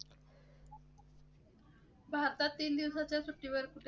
भारतातील कुठे?